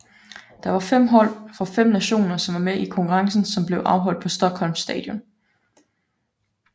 Der var fem hold fra fem nationer som var med i konkurrencen som blev afholdt på Stockholms Stadion